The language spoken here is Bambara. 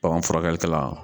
furakɛlikɛla